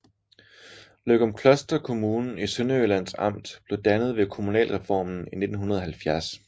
Løgumkloster Kommune i Sønderjyllands Amt blev dannet ved kommunalreformen i 1970